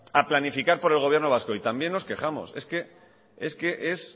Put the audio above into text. a planificar por el gobierno vasco y también nos quejamos es que es que es